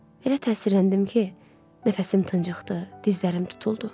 Elə təsirləndim ki, nəfəsim tıncıxdı, dizlərim tutuldu.